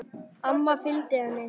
Amma fylgdi henni.